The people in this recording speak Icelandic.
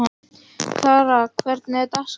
Kara, hvernig er dagskráin?